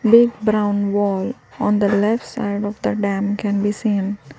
Big brown wall on the left side of the dam can be seen.